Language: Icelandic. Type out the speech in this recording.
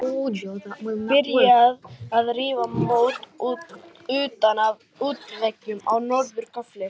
Byrjað að rífa mót utan af útveggjum á norður gafli.